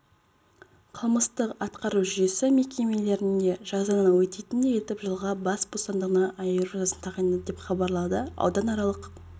қылмыстық-атқару жүйесі мекемелерінде жазаны өтейтіндей етіп жылға бас бостандығынан айыру жазасын тағайындады деп хабарлады ауданаралық